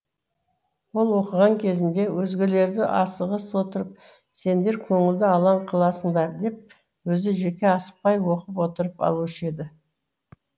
ол оқыған кезінде өзгелерді асығыс отырып сендер көңілді алаң қыласыңдар деп өзі жеке асықпай оқып отырып алушы еді